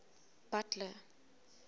butler